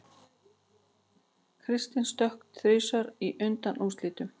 Kristinn stökk þrisvar í undanúrslitunum